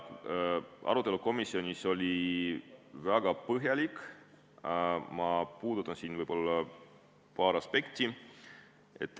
Arutelu komisjonis oli väga põhjalik, ma puudutan siin paari aspekti.